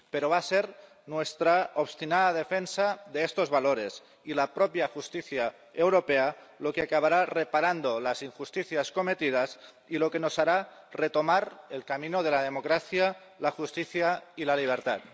Pero va a ser nuestra obstinada defensa de estos valores y la propia justicia europea lo que acabará reparando las injusticias cometidas y lo que nos hará retomar el camino de la democracia, la justicia y la libertad.